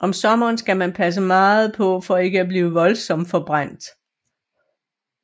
Om sommeren skal man passe meget på for ikke at blive voldsomt forbrændt